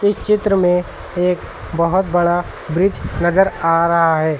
इस चित्र में एक बहोत बड़ा ब्रिज नजर आ रहा है।